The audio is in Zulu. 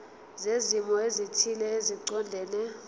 zezimo ezithile eziqondene